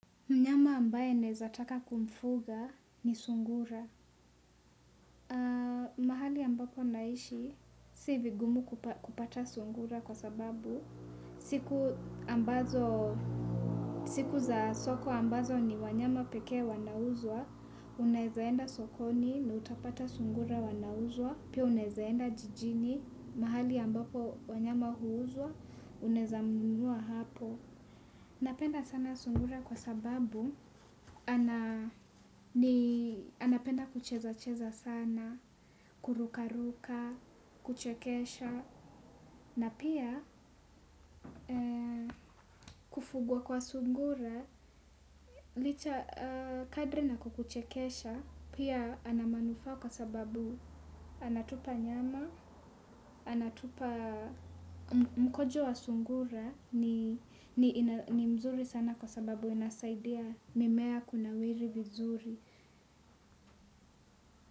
Mnyama ambaye naweza taka kumfuga ni sungura. Mahali ambapo naishi, si vigumu kupata sungura kwa sababu. Siku za soko ambazo ni wanyama pekee wanauzwa unaweza enda sokoni na utapata sungura wanauzwa. Pia unaweza enda jijini, mahali ambapo wanyama huuzwa, unaweza mnunua hapo. Napenda sana sungura kwa sababu, anapenda kuchezacheza sana, kurukaruka, kuchekesha, na pia kufugwa kwa sungura, licha kadre na kukuchekesha, pia anamanufa kwa sababu, anatupa nyama, anatupa mkojo wa sungura, ni mzuri sana kwa sababu inasaidia mimea kuna wiri vizuri.